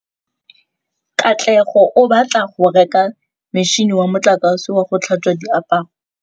Katlego o batla go reka motšhine wa motlakase wa go tlhatswa diaparo.